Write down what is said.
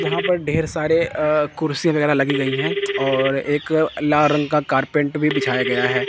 यहां पर ढेर सारे अह कुर्सी वगैरह लगी गई हैं और एक लाल रंग का कार्पेट भी बिछाया गया है।